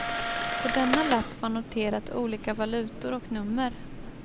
På denna lapp var noterat olika valutor och nummer.